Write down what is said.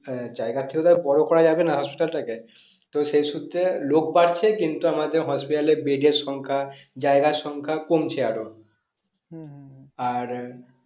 হ্যাঁ যাই থেকে তো বড়ো করা হবেনা hospital টা কে তো সেই সূত্রে লোক বাড়ছে কিন্তু আমাদের hospital এর bed এর সংখ্যা জায়গার সংখ্যা কমছে আরো আর